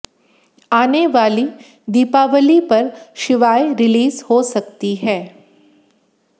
आनेआली दीपावली पर शिवाय को रिलीज़ हो सकती है